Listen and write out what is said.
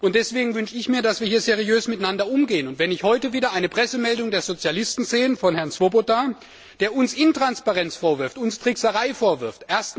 Und deswegen wünsche ich mir, dass wir hier seriös miteinander umgehen gerade, wenn ich heute wieder eine Pressemeldung der Sozialisten, von Herrn Swoboda, sehe, der uns Intransparenz vorwirft, uns Trickserei vorwirft.